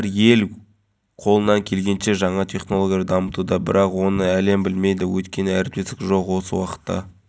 қазақстан республикасы тәуелсіздігінің жылдығына орайластырылған мектепке жол акциясы аясында әр бала мектепке мерекелік көңіл-күймен барады мұндай